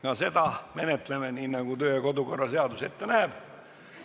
Ka seda menetleme nii, nagu kodu- ja töökorra seadus ette näeb.